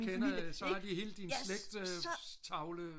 så har de hele din slægtstavle